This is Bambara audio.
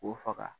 K'o faga